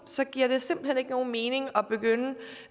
så giver det simpelt hen ikke nogen mening at begynde